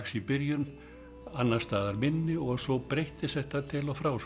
í byrjun annars staðar minni og svo breyttist þetta til og frá